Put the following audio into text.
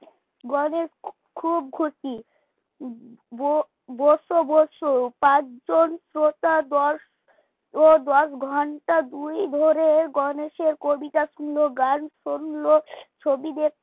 গণেশ খুব খুশি বো বসো বসো পাঁচজন শ্রোতা দশ ও দশ ঘণ্টা দুই ধরে গণেশের কবিতা শুনলো গান শুনলো, ছবি দেখ